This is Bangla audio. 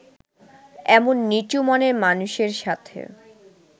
এমন নিচু মনের মানুষের সাথে